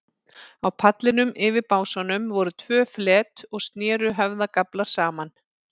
Á pallinum, yfir básunum, voru tvö flet og sneru höfðagaflar saman.